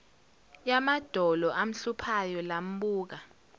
yamadolo amhluphayo lambuka